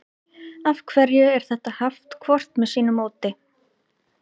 af hverju er þetta haft hvort með sínu móti